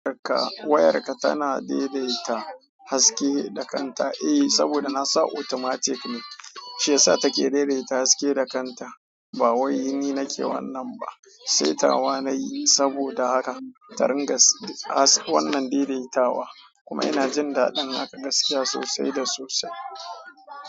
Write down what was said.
Wayarka, wayarka tana daidaita haske da kanta. Eh, saboda nasa automatic ne, shi yasa take daidaita haske da kanta. Ba wai ni nake wannan ba. Setawa na yi saboda haka, ta ringa wannan daidaitawa. Kuma ina jin daɗin haka gaskiya sosai da sosai.